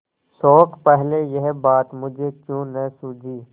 शोक पहले यह बात मुझे क्यों न सूझी